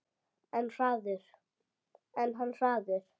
Hann er hraður.